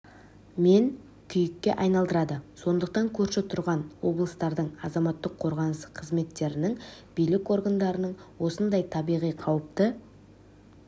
мен күйікке айналдырады сондықтан көрші тұрған облыстардың азаматтық қорғаныс қызметтірінің билік органдарының осындай табиғи қауіпті